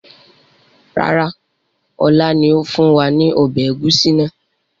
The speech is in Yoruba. Rárá, ọlá ni ó fún wa ní ọbẹ̀ ẹ̀gúsí náà